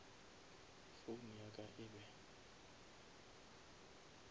phone ya ka e be